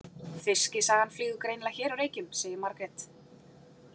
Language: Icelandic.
Fiskisagan flýgur greinilega hér á Reykjum, sagði Margrét.